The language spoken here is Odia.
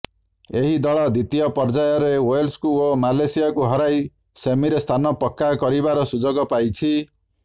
ଏହି ଦଳ ଦ୍ୱିତୀୟ ପର୍ଯ୍ୟାୟରେ ୱେଲ୍ସକୁ ଓ ମାଲେସିୟାକୁ ହରାଇ ସେମିରେ ସ୍ଥାନ ପକ୍କା କରିବାର ସୁଯୋଗ ପାଇଛି